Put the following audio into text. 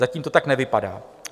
Zatím to tak nevypadá.